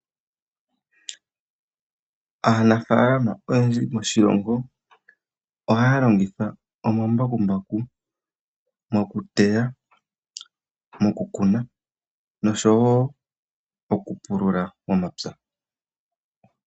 Aanafaalama oyendji moshilongo ohaya longitha omambakumbaku mokuteya, moku kuna osho wo moku pulula omapya.